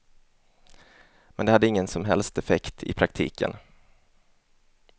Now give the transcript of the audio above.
Men det hade ingen som helst effekt i praktiken.